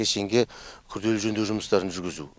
кешенге күрделі жөндеу жұмыстарын жүргізу